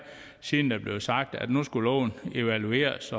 siden der blev sagt at nu skulle loven evalueres